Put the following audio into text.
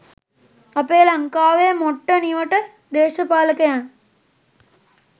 අපේ ලංකාවේ මොට්ට නිවට දේශපාලකයන්